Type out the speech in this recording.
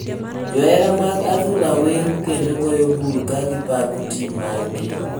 Johera mag adhula wer kendo goyo bul ka gipako tim mar gi.